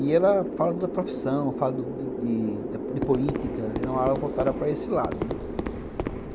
E ela fala da profissão, fala de de política, era uma aula voltada para esse lado, né.